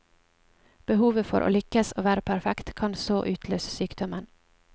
Behovet for å lykkes og være perfekt kan så utløse sykdommen.